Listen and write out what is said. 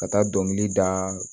Ka taa dɔnkili da